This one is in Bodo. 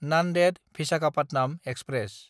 नान्देद–भिसाखापाटनाम एक्सप्रेस